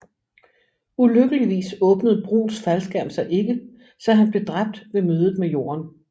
Ulykkeligvis åbnede Bruhns faldskærm sig ikke så han blev dræbt ved mødet med jorden